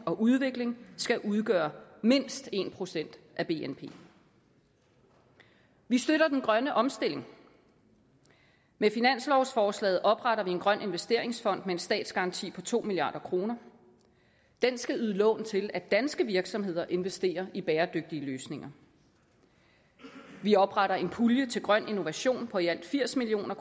og udvikling skal udgøre mindst en procent af bnp vi støtter den grønne omstilling med finanslovsforslaget opretter vi en grøn investeringsfond med en statsgaranti på to milliard kroner den skal yde lån til at danske virksomheder investerer i bæredygtige løsninger vi opretter en pulje til grøn innovation på i alt firs million